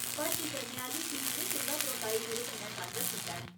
भर्ती करने आह्‌ली टीम ने तुं'दा प्रोफाइल मेरे कन्नै सांझा कीता ऐ।